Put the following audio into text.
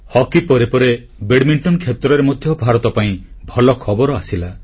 hockey ପରେ ପରେ badminton କ୍ଷେତ୍ରରେ ମଧ୍ୟ ଭାରତ ପାଇଁ ଭଲ ଖବର ଆସିଲା